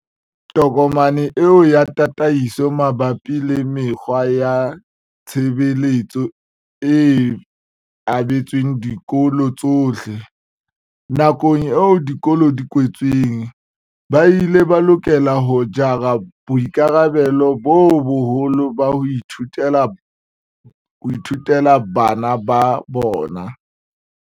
Tokomane eo ya tataiso mabapi le mekgwa ya tshebetso e abetswe dikolo tsohle. Nakong eo dikolo di kwetsweng, ba ile ba lokela ho jara boikarabelo bo boholo ba ho ithutela bana ba bona.